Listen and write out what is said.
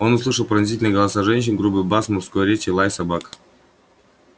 он услышал пронзительные голоса женщин грубый бас мужской речи лай собак